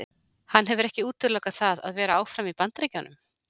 Hann hefur ekki útilokað það að vera áfram í Bandaríkjunum.